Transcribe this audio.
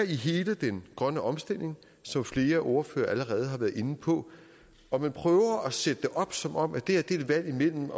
hele den grønne omstilling som flere ordførere allerede har været inde på og man prøver at sætte det op som om det er et valg imellem